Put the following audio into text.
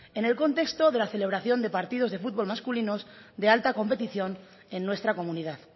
en el contexto de la celebración de partidos de fútbol masculinos de alta competición en nuestra comunidad